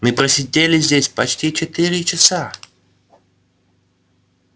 мы просидели здесь почти четыре часа